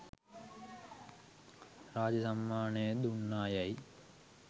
රාජ්‍ය සම්මානය දුන්නා යැයි